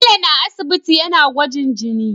Bello na aisibiti yAna gwajin jini